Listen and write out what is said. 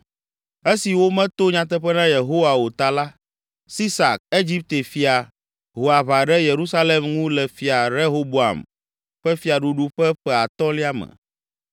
Esi wometo nyateƒe na Yehowa o ta la, Sisak, Egipte fia, ho aʋa ɖe Yerusalem ŋu le Fia Rehoboam ƒe fiaɖuɖu ƒe ƒe atɔ̃lia me